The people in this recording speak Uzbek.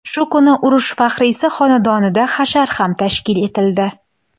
Shu kuni urush faxriysi xonadonida hashar ham tashkil etildi.